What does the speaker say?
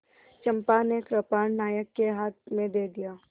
चंपा ने कृपाण नायक के हाथ में दे दिया